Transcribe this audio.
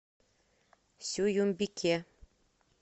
сююмбике